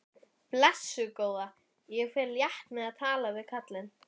Blessuð góða, ég fer létt með að tala við kallinn.